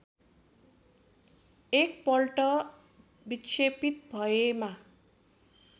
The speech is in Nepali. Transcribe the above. एकपल्ट विक्षेपित भएमा